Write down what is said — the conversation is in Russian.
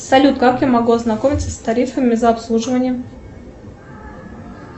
салют как я могу ознакомиться с тарифами за обслуживание